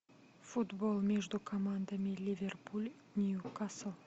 футбол между командами ливерпуль ньюкасл